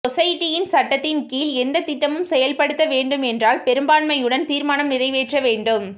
சொசைட்டின் சட்டத்தின் கீழ் எந்த திட்டமும் செயல்படுத்த வேண்டும் என்றால் பெரும்பான்மையுடன் தீர்மானம் நிறைவேற்ற வேண்டும்